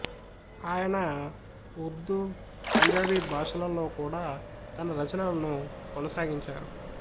ఆయన ఉర్దూ పంజాబీ భాషలలో కూడా తన రచనలను కొనసాగించారు